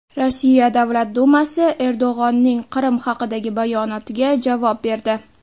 Rossiya Davlat Dumasi Erdo‘g‘onning Qrim haqidagi bayonotiga javob berdi.